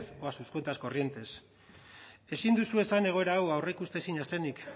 o a sus cuentas corrientes ezin duzu esan egoera hau aurreikustezina zenik